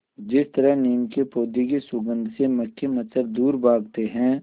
जिस तरह नीम के पौधे की सुगंध से मक्खी मच्छर दूर भागते हैं